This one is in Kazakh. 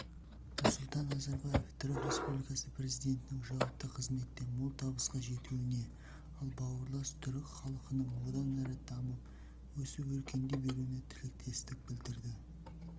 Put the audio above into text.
нұрсұлтан назарбаев түрік республикасы президентінің жауапты қызметте мол табысқа жетуіне ал бауырлас түрік халқының одан әрі дамып өсіп-өркендей беруіне тілектестік білдірді